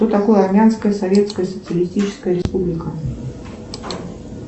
что такое армянская советская социалистическая республика